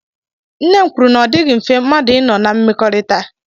Nne m kwuru na ọ dịghị mfe mmadụ ị nọ na mmekọrịta.